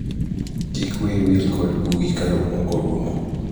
kik wiyi wil kod bugi ka romo orumo